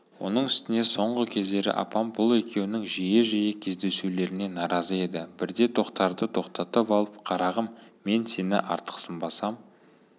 оның үстіне соңғы кездері апам бұл екеуінің жиі-жиі кездесулеріне наразы еді бірде тоқтарды тоқтатып алып қарағым мен сені артықсынбасам